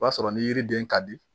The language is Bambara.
O b'a sɔrɔ ni yiriden ka di